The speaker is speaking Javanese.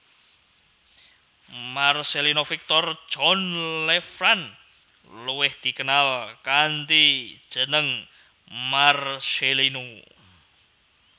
Marcellino Victor John Lefrand luwih dikenal kanthi jeneng Marcellino